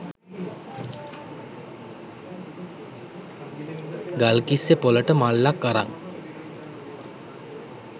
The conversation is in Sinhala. ගල්කිස්සෙ පොළට මල්ලක් අරන්